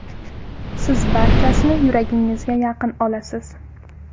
Siz barchasini yuragingizga yaqin olasiz.